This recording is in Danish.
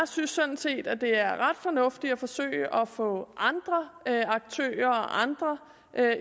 synes sådan set at det er ret fornuftigt at forsøge at få andre aktører og andre